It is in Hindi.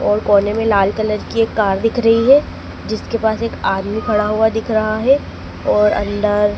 और कोने में लाल कलर की एक कार दिख रही है जिसके पास एक आदमी खड़ा हुआ दिख रहा है और अंदर--